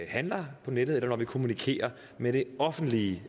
handler på nettet og når vi kommunikerer med det offentlige